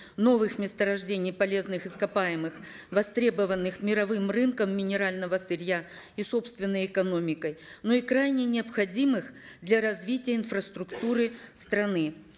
новых месторождений полезных ископаемых востребованных мировым рынком минерального сырья и собственной экономикой но и крайне необходимых для развития инфраструктуры страны